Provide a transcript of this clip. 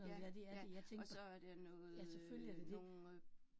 Ja, ja, og så er det noget øh nogen